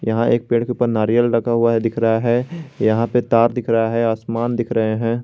यहां एक पेड़ के ऊपर नारियल रखा हुआ है दिख रहा है यहां पर तार दिख रहा है आसमान दिख रहे हैं।